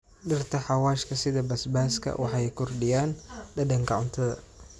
Dhirta xawaashka sida basbaaska waxay kordhiyaan dhadhanka cuntada.